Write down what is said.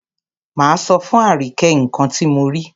Máa sọ fún Àríkẹ́ nǹkan ti mo rí.